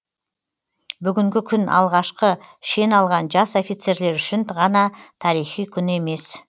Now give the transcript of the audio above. бүгінгі күн алғашқы шен алған жас офицерлер үшін ғана тарихи күн емес